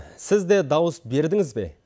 сіз де дауыс бердіңіз бе